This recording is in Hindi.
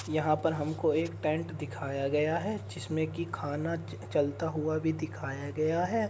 यहाँ पर हमकों एक टेंट दिखाया गया है जिसमे की खाना च चलता हुआ भी दिखाया गया है।